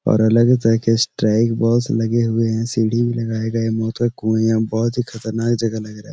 और अलग-अलग तरह के स्ट्राइक बॉल्स लगे हुए हैं। सीढ़ी भी लगाई गये मौत का कुआं है। बहोत ही खतरानाक जगह लग रहा है।